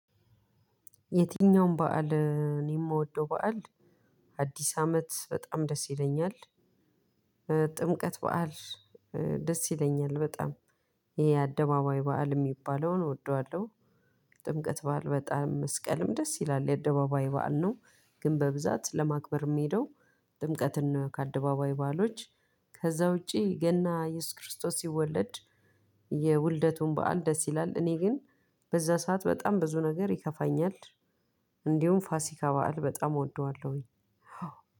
የትኛም በዓል እኔ የምወደው በዓል አድስ አመት በጣም ደስ ይለኛል። ጥምቀት በዓል ደስ ይለኛል በጣም ይሄ አደባባይ በዓል የሚባለውን እወደዋለሁ። ጥምቀት በዓል በጣም መስቀልም ደስ ይላል የአደባባይ በዓል ነው ግን በብዛት ለማክበር የሚሄደው ጥምቀትን ነው ከአደባባይ ባአሎች ከዛ ውጪ ገና ኢየሱስ ክርስቶስ ሲወለድ የውልደቱን በዓል ደስ ይላል እኔ ግን በዛ ሰዓት በጣም ብዙ ነገር ይከፋኛል። እንዲሁም ፋሲካ በዓል በጣም እወደዋለሁኝ።